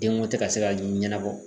Denko tɛ ka se ka ɲɛnabɔ.